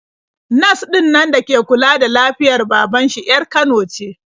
Nas ɗinnan da ke kula da lafiyar baban shi 'yar Kano ce.